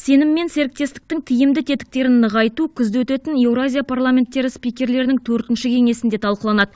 сенім мен серіктестіктің тиімді тетіктерін нығайту күзде өтетін еуразия парламенттері спикерлерінің төртінші кеңесінде талқыланады